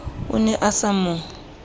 o ne a sa mo